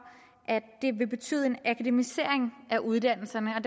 at det vil betyde en akademisering af uddannelserne og